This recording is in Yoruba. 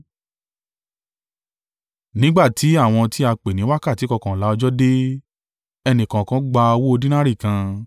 “Nígbà tí àwọn ti a pè ní wákàtí kọkànlá ọjọ́ dé, ẹnìkọ̀ọ̀kan gba owó dínárì kan.